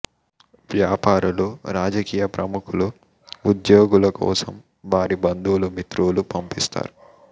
వ్యాపారులు రాజకీయ ప్రముఖులు ఉద్యోగుల కోసం వారి బంధువులు మిత్రులు పంపిస్తారు